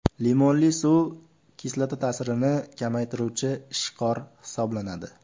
Limonli suv kislota ta’sirini kamaytiruvchi ishqor hisoblanadi.